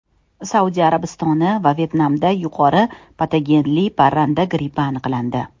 Saudiya Arabistoni va Vyetnamda yuqori patogenli parranda grippi aniqlandi.